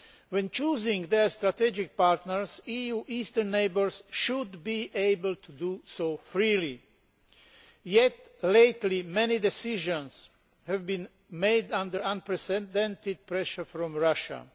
When choosing their strategic partners, the EU's eastern neighbours should be able to do so freely. Yet, lately, many decisions have been made under unprecedented pressure from Russia.